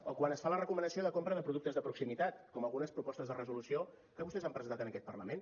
o quan es fa la recomanació de compra de productes de proximitat com algunes propostes de resolució que vostès han presentat en aquest parlament